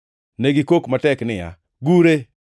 Ne gikok matek niya, “Gure!”